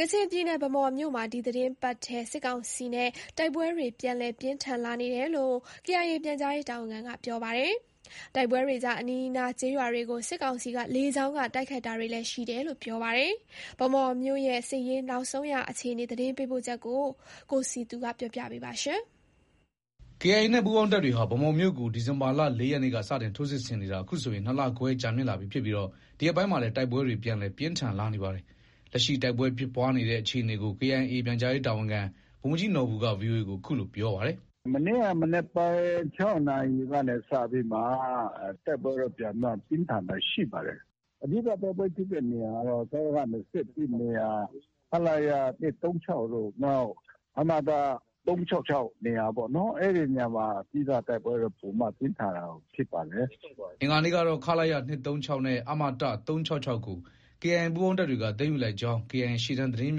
ကချင်ပြည်နယ် ဗန်းမော်မြို့မှာ ဒီသီတင်းပတ်ထဲ စစ်ကောင်စီနဲ့တိုက်ပွဲတွေ ပြန်လည် ပြင်းထန် လာနေတယ်လို့ KIA ပြန်ကြားရေးတာဝန်ခံက ပြောလိုက်ပါတယ်။ တိုက်ပွဲတွေကြား အနီးအနား ကျေးရွာတွေကို စစ်ကောင်စီက လေကြောင်းက တိုက်ခိုက်တာတွေလည်း ရှိတယ်လို့ ပြောပါတယ်။ ဗန်းမော်မြို့ စစ်ရေးနောက်ဆုံးအခြေအနေ ရန်ကုန်က သတင်းပေးပို့ထားပါတယ်။ KIA နဲ့ ပူးပေါင်းတပ်တွေဟာ ဗန်းမော်မြို့ကို ဒီဇင်ဘာလ ရက်နေ့က စတင်ထိုးစစ်ဆင်နေတာ အခုဆိုရင် နှစ်လခွဲကြာမြင့်လာပြီး ဒီရက်ပိုင်းမှာလည်း တိုက်ပွဲတွေ ပြန်လည် ပြင်းထန်လာနေပါတယ်။ လက်ရှိ တိုက်ပွဲဖြစ်ပွားနေတဲ့အခြေအနေကို KIA ပြန်ကြားရေးတာဝန်ခံ ဗိုလ်မှူးကြီးနော်ဘူက VOA ကို အခုလို ပြောပါတယ်။ “မနေ့က မနက်ပိုင်း နာရီကနေ စပြီးမှာ တိုက်ပွဲတော့ ပြန်ပြီးမှ ပြင်းထန်တာရှိပါတယ်။ အဓိက တိုက်ပွဲဖြစ်တဲ့နေရာကတော့ စကခ နေရာ၊ ခလရ တို့ နောက် အမတ နေရာပေါ့နော်။ အဲဒီနေရာမှာ အဓိက တိုက်ပွဲပိုပြင်းထန်တာ ဖြစ်ပါတယ်။” အင်္ဂါနေ့ကတော့ ခလရ နဲ့ အမတ ကို KIA ပူးပေါင်းတပ်တွေက သိမ်းယူလိုက်ကြောင်း KIA ရှေ့တန်းသတင်းရ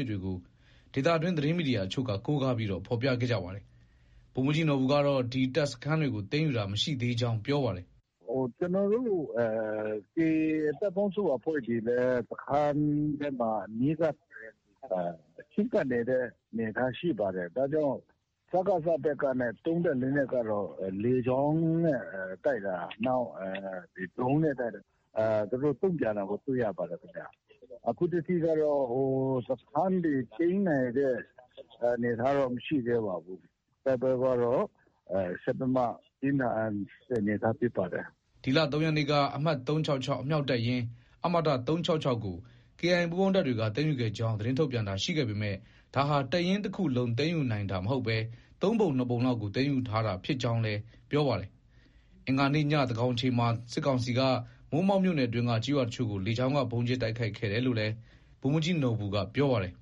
င်းမြစ်တွေကို ဒေသတွင်း သတင်းမီဒီယာအချို့က ကိုးကားပြီး ဖော်ပြခဲ့ကြပါတယ်။ ဗိုလ်မှူးကြီးနော်ဘူကတော့ ဒီတပ်စခန်းတွေကို သိမ်းယူတာမရှိသေးကြောင်း ပြောပါတယ်။ “ကျနော်တို့ KIA တပ်ပေါင်းစုအဖွဲ့တွေလည်း စခန်းထဲမှာ အနီးကပ် ချဉ်းကပ်နေတဲ့အနေအထား ရှိပါတယ်။ ဒါကြောင့် စကစ ဘက်ကသုံးတဲ့လက်နက်ကတော့ လေကြောင်းနဲ့တိုက်တာ နောက် ဒရုန်းနဲ့တိုက်တာ။ သူတို့ တုံ့ပြန်တာကို တွေ့ရပါတယ်။ အခုထက်ထိကတော့ စခန်းတွေသိမ်းနိုင်တဲ့အနေအထားတော့ မရှိသေးပါဘူး။ တိုက်ပွဲကတော့ ဆက်ပြီးမှ ပြင်းထန်တဲ့အနေအထားဖြစ်ပါတယ်။” ဒီလ ရက်နေ့က အမှတ် အမြောက်တပ်ရင်း ကို KIA ပူးပေါင်းတပ်တွေက သိမ်းယူခဲ့ကြောင်း သတင်းထုတ်ပြန်တာရှိခဲ့ပေမဲ့ ဒါဟာ တပ်ရင်းတခုလုံး သိမ်းယူနိုင်တာမဟုတ်ဘဲ သုံးပုံ ၂နှစ်ပုံလောက်ကို သိမ်းယူထားတာဖြစ်ကြောင်းလည်း ပြောပါတယ်။ အင်္ဂါနေ့ည သန်းခေါင်အချိန်မှာ စစ်ကောင်စီက မိုးမောက်မြို့နယ်အတွင်းက ကျေးရွာအချို့ကို လေကြောင်းက ဗုံးကြဲတိုက်ခိုက်တယ်လို့လည်း ဗိုလ်မှူးကြီးနော်ဘူက ပြောပါတယ်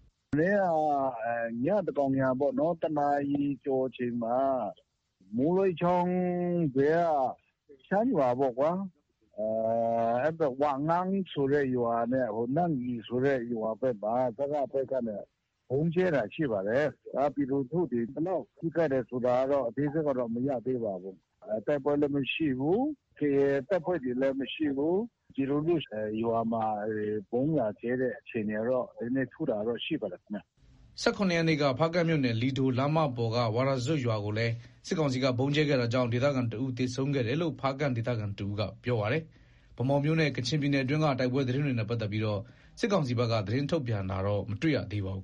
။ “မနေ့က ညသန်းခေါင်ယံအချိန်ပေါ့။ တနာရီကျော်အချိန်မှာ မိုးလွဲချောင်းဘေးက ရှမ်းရွာပေါ့ကွာ။ ဝက်ငင်းဆိုတဲ့ရွာနဲ့ နှင်းအီဆိုတဲ့ရွာဘက်မှာ စကစဘက်ကနေ ဗုံးကြဲတာရှိပါတယ်။ ပြည်သူလူထုတွေ ဘယ်လောက်ထိခိုက်တယ်ဆိုတာတော့ အသေးစိတ်ကတော့ မရသေးပါဘူး။ တိုက်ပွဲလည်း မရှိဘူး။ KIA တပ်ဖွဲ့တွေလည်း မရှိဘူး။ ဒီလိုမျိုးရွာမှာ ဗုံးလာကြဲတဲ့အခြေအနေကတော့ နည်းနည်းထူးတာတော့ ရှိပါတယ်။” ရက်နေ့က ဖားကန့်မြို့နယ် လီဒိုလမ်းမပေါ်က ဝါရာဇွပ်ရွာကိုလည်း စစ်ကောင်စီက ဗုံးကြဲခဲ့တာကြောင့် ဒေသခံတဦး သေဆုံးခဲ့တယ်လို့ ဖားကန့်ဒေသခံတဦးက ပြောပါတယ်။ ဗန်းမော်မြို့နဲ့ ကချင်ပြည်နယ် အတွင်းက တိုက်ပွဲသတင်းတွေနဲ့ ပတ်သက်ပြီး စစ်ကောင်စီဘက်က သတင်းထုတ်ပြန်တာတော့ မတွေ့ရပါဘူး